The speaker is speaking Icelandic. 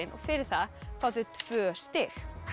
og fyrir það fá þau tvö stig